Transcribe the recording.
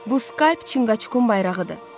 Bu scalp Çınqacukun bayrağıdır.